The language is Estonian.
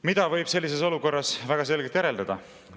Mida võib sellises olukorras väga selgelt järeldada?